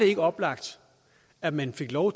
ikke oplagt at man fik lov